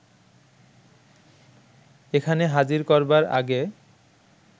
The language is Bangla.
এখানে হাজির করবার আগে